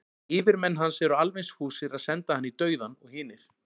yfirmenn hans eru alveg eins fúsir að senda hann í dauðann og hinir